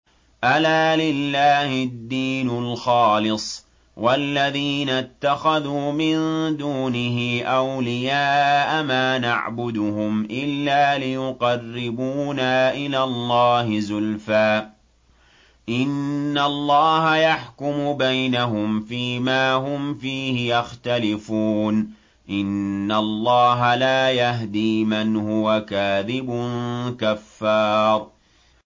أَلَا لِلَّهِ الدِّينُ الْخَالِصُ ۚ وَالَّذِينَ اتَّخَذُوا مِن دُونِهِ أَوْلِيَاءَ مَا نَعْبُدُهُمْ إِلَّا لِيُقَرِّبُونَا إِلَى اللَّهِ زُلْفَىٰ إِنَّ اللَّهَ يَحْكُمُ بَيْنَهُمْ فِي مَا هُمْ فِيهِ يَخْتَلِفُونَ ۗ إِنَّ اللَّهَ لَا يَهْدِي مَنْ هُوَ كَاذِبٌ كَفَّارٌ